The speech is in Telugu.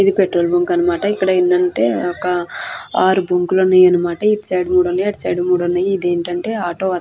ఇది పెట్రోల్ బంక్ అన్నమాట ఇక్కడ ఏంటంటే ఒక ఆరు బంకులు ఉన్నాయన్నమాట ఇటు సైడ్ మూడు ఉన్నాయి అటు సైడ్ మూడు ఉన్నాయి. ఇదేంటంటే ఆటో --